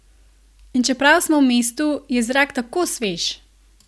In čeprav smo v mestu, je zrak tako svež!